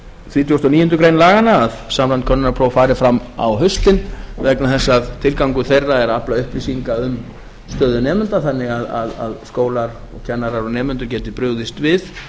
þrítugasta og níundu grein laganna að samræmd könnunarpróf fari fram á haustin vegna þess að tilgangur þeirra er að afla upplýsinga um stöðu nemenda þannig að skólar og kennarar og nemendur geti brugðist við